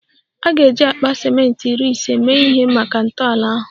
A ga-eji akpa ciment iri ise mee ihe maka ntọala ahụ